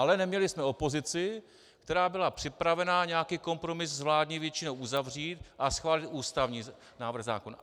Ale neměli jsme opozici, která byla připravena nějaký kompromis s vládní většinou uzavřít a schválit ústavní návrh zákona.